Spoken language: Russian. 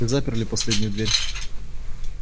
заперли последнюю дверь